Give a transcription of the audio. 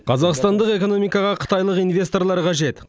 қазақстандық экономикаға қытайлық инвесторлар қажет